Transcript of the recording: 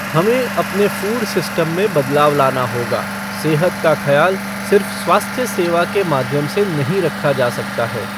हमें अपने food system में बदलाव लाना होगा, सेहत का खयाल सिर्फ स्वास्थ्य सेवा के माध्यम से नहीं रखा जा सकता है।